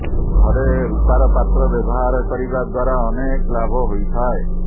ଘରେ ରୂପାର ପାତ୍ର ବ୍ୟବହାର କରିବା ଦ୍ବାରା ଅନେକ ଲାଭ ହୋଇଥାଏ